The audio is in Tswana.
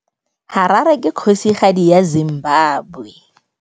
Harare ke kgosigadi ya Zimbabwe.